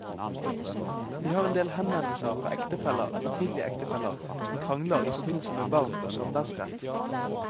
Vi har endel henvendelser fra ektefeller eller tidligere ektefeller som krangler i forbindelse med barn og samværsrett.